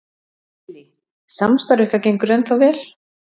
Lillý: Samstarf ykkar gengur ennþá vel?